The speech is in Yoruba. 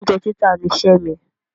Oúnjẹ títà niṣẹ́ mi.